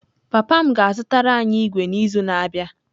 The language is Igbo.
Papa m ga-azụtara anyị ígwè n’izu na-abịa